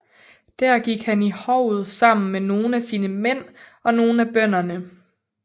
Der gik han ind i hovet sammen med nogle af sine mænd og nogle af bønderne